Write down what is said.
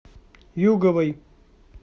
юговой